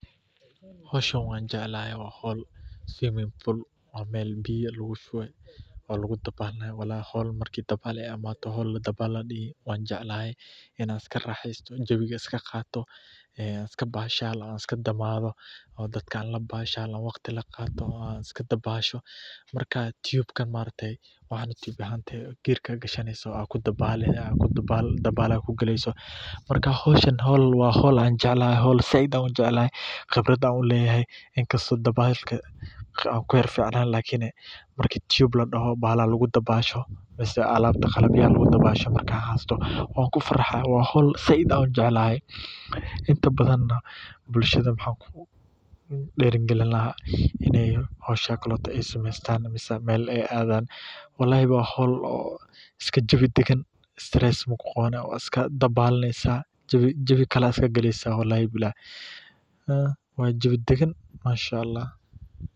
Hoshan wanjeclahay wa hool swimming pool wa meel biya lagu shuboh, wa hool marki dabal ladehi wanjeclahay Ina karaxeystoh jawika iskaqatoh ee iskabashaloh iska damathoh, oo dadka waqdi kaqatoh mark tiyuba geerka Kathaneysah, dabal kugaleysahbmarka hooshan hool saait u jeclahay qebrat u leeyahay inkastoo dabasha kuficnen marka tuyub ladahoo Misa alabta qalabya lagu dabaasho marki heloh wa hool saait u jeclahay bulshada waxakudeerikalina Ina hooshan walalahi wa hool oo iska jawi dagan strees iskadabalneysah jawi iskagaleysah wa jawi dagan manshlh.